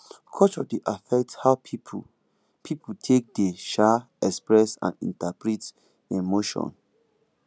culture dey affect how pipo pipo take dey um express and interpret emotion